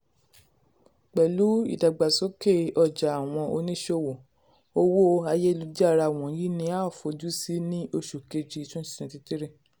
um pẹ̀lú ìdàgbàsókè ọjà àwọn oníṣòwò owó um ayélujára wọ̀nyí ni a fojú sí ní oṣù kejì um twenty twenty three